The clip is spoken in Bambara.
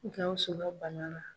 Gawusu ka bana na.